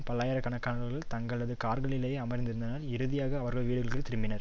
பல்லாயிரக்கணக்கானவர்கள் தங்களது கார்களிலேயே அமர்ந்திருந்தனர் இறுதியாக அவர்கள் வீடுகள் திரும்பினர்